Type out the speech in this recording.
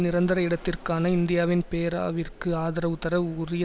நிரந்தர இடத்திற்கான இந்தியாவின் பேராவிற்கு ஆதரவுதர உரிய